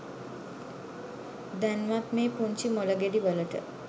දැන්වත් මේ පුංචි මොලගෙඩි වලට